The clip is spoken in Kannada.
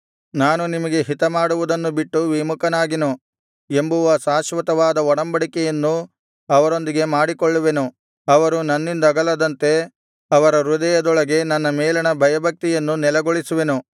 ನಾನು ನಿಮಗೆ ಹಿತ ಮಾಡುವುದನ್ನು ಬಿಟ್ಟು ವಿಮುಖನಾಗೆನು ಎಂಬುವ ಶಾಶ್ವತವಾದ ಒಡಂಬಡಿಕೆಯನ್ನು ಅವರೊಂದಿಗೆ ಮಾಡಿಕೊಳ್ಳುವೆನು ಅವರು ನನ್ನಿಂದಗಲದಂತೆ ಅವರ ಹೃದಯದೊಳಗೆ ನನ್ನ ಮೇಲಣ ಭಯಭಕ್ತಿಯನ್ನು ನೆಲೆಗೊಳಿಸುವೆನು